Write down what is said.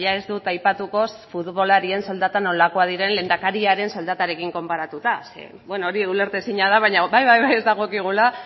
ez dut aipatuko futbolarien soldatak nolakoak diren lehendakariaren soldatarekin konparatuta zeren hori ulertezina da baina bai ez dagokigula